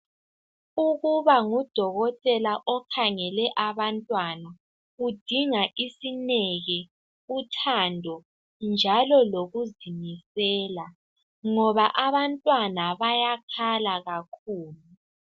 Ukuba ngudokotela okhangele ababantwana, kudinga isineke, uthando njalo lokuzinikela ngoba abantwana bayakhala kakhulu.